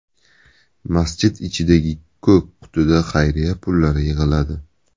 Masjid ichidagi ko‘k qutida xayriya pullari yig‘iladi.